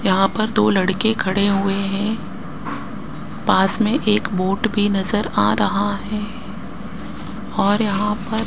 यहां पर दो लड़के खड़े हुए हैं पास में एक वोट भी नजर आ रहा है और यहां पर --